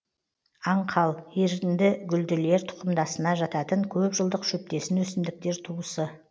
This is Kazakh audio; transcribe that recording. аңқал еріндігүлділер тұқымдасына жататын көп жылдық шөптесін өсімдіктер туысы